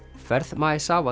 ferð